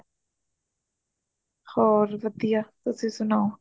ਔਰ ਵਧੀਆ ਤੁਸੀਂ ਸੁਣਾਓ